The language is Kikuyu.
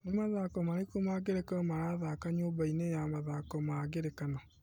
Nĩ mathako marĩkũ ma ngerekano marathaka nyũmba-inĩ ya mathako ma ngerekano .